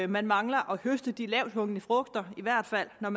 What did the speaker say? man mangler at høste de lavthængende frugter i hvert fald når